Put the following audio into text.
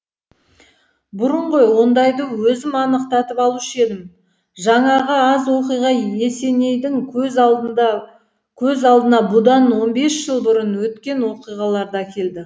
бұрын ғой ондайды өзім анықтатып алушы едім жаңағы аз оқиға есенейдің көз алдына бұдан он бес жыл бұрын өткен оқиғаларды әкелді